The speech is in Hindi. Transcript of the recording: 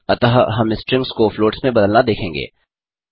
अतः हम अब स्ट्रिंग्स को फ्लॉट्स में बदलना देखेंगे